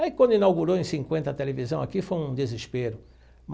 Aí, quando inaugurou em cinquenta, a televisão aqui foi um desespero.